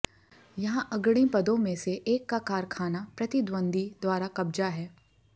यहां अग्रणी पदों में से एक का कारखाना प्रतिद्वंद्वी द्वारा कब्जा है